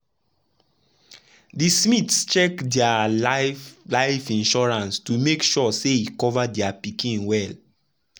de smiths check dia life life insurance to make sure say e cover dia pikin dem well.